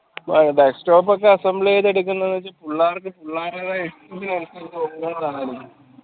best of assembly ഒക്കെ എടുക്കുന്ന പുള്ളേർക്ക് പുള്ളാരതായ ഇഷ്ടത്തിനനുസച്ച് നോക്കുന്നതാണ്